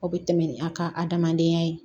Aw bɛ tɛmɛ ni an ka adamadenya ye